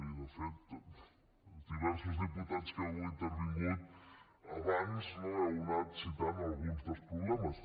i de fet diversos diputats que avui heu intervingut abans heu anat citant alguns dels problemes